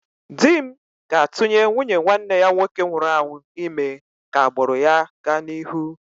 Di m ga-atụnye nwunye nwanne ya nwoke nwụrụ anwụ ime ka agbụrụ ya gaa n'ihu